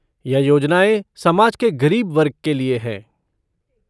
यह योजनाएं समाज के गरीब वर्ग के लिए हैं।